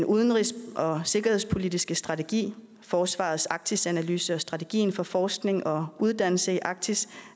udenrigs og sikkerhedspolitiske strategi forsvarets arktisanalyse og strategien for forskning og uddannelse i arktis